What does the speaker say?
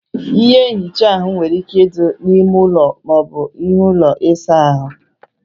Ihe nhicha áhụ nwere ike ịdị na ímé ụlọ, maọbu na ime ụlọ ịsa ahụ